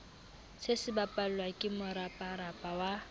se sebapallwa ke moraparapa wa